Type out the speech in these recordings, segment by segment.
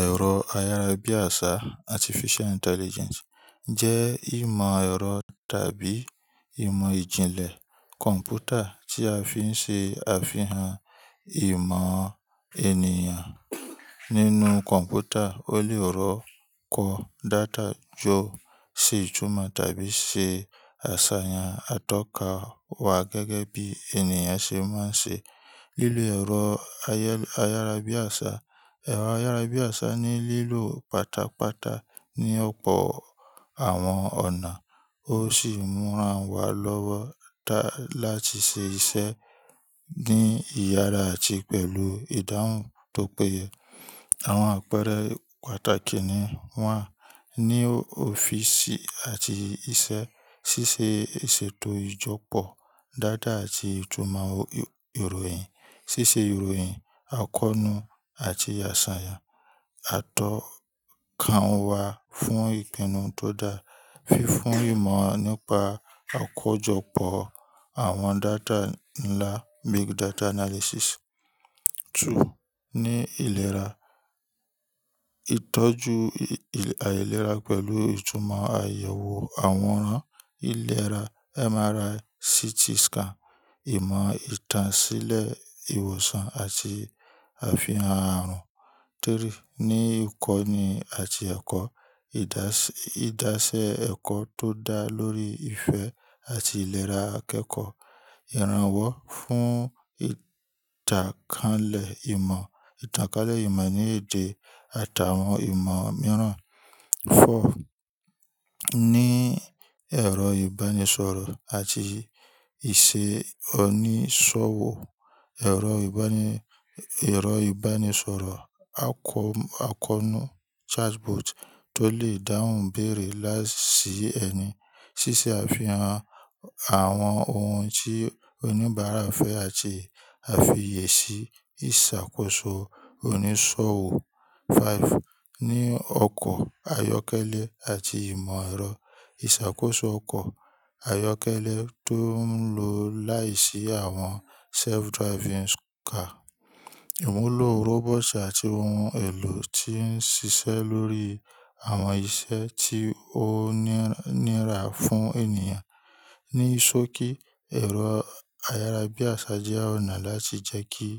Ẹ̀rọ ayára bí àṣá Artificial Intelligence jẹ́ ìmọ̀ ẹ̀rọ tàbí ìmọ̀ ìjìnlẹ̀ kọ̀m̀pútà tí a fi ń ṣe àfihàn ìmọ̀ ènìyàn nínú kọ̀m̀pútà. Ó lè rọ́kọ data jọ, ṣe ìtumọ̀ tàbí ṣe àṣàyàn atọ́ka wá gẹ́gẹ́ bí ènìyàn ṣe máa ń ṣe. Lílọ ẹ̀rọ ayára bí àṣá, ẹ̀rọ ayára bí àṣá ní lílò pátápátá ní ọ̀pọ̀ àwọn ọ̀nà. Ó sì ń múra wá lọ́wọ́ láti ṣe iṣẹ́ ní ìyára àti pẹ̀lú ìdáhùn tó péye. Àwọn àpẹẹrẹ pàtàkì ni wọ́n ní òfin sì àti iṣẹ́, ṣíṣe ìṣètò ìjọ́pọ̀ data àti ìtumọ̀ ìròyìn, ṣíṣe ìròyìn, àkọnu àti àṣàyàn atọ́ka wá fún ìpinnu tó dáa, fi fún ìmọ̀ nípa àkójọpọ̀ àwọn data ńlá Big Data Analysis. Ní ìlera, ìtọ́jú àìlera pẹ̀lú ìtumọ̀ àyẹ̀wò àwọn ìlera MRI, CT scan, ìmọ̀ ìtànṣílẹ̀ ìwòsàn àti àfihàn àrùn. Ní ìkọ́ni àti ẹ̀kọ́, ìdásẹ ẹ̀kọ́ tó dáa lórí ìfẹ́ àti ìlera akẹ́kọ̀ọ́, ìrànwọ́ fún ìtàkálẹ̀ ìmọ̀, ìtàkálẹ̀ ìmọ̀ ní èdè àtàwọn ìmọ̀ mìíràn. Ní ẹ̀rọ ìbánisọ̀rọ̀ àti ìṣe oníṣòwò, ẹ̀rọ ìbánisọ̀rọ̀ àkọnu chatbot tó lè dáhùn ibéèrè láìsí ẹni, ṣíṣe àfihàn àwọn ohun tí oníbàárà fẹ́ àti àfiyèsí ìṣàkóso oníṣòwò. Ní ọkọ̀ ayọ́kẹ́lẹ́ àti ìmọ̀ ẹ̀rọ, ìṣàkóso ọkọ̀ ayọ́kẹ́lẹ́ tó ń lo láìsí àwọn self-driving car, ìmúlò robot àti ohun èlò tí ń ṣiṣẹ́ lórí àwọn iṣẹ́ tí ó nira fún ènìyàn. Ni sooki, ẹ̀rọ ayára bí àṣá jẹ́ ọ̀nà láti jẹ́ kí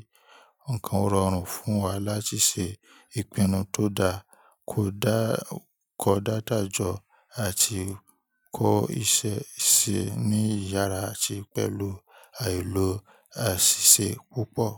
nǹkan o rọrùn fún wa láti ṣe ìpinnu tó dáa, kọ data jọ àti kó iṣẹ́ ṣe ní ìyára àti pẹ̀lú àìlo àṣìṣe púpọ̀.